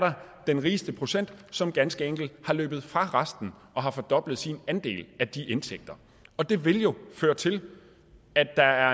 den rigeste procent som ganske enkelt er løbet fra resten og har fordoblet sin andel af de indtægter og det vil jo føre til at der er